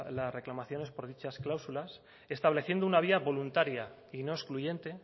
las reclamaciones por dichas clausulas estableciendo una vía voluntaria y no excluyente